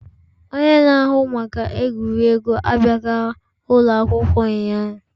Onye na-ahụ maka egwuregwu abịaghị ụlọ akwụkwọ ụnyahụ.